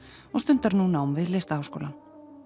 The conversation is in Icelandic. og stundar nú nám við Listaháskólann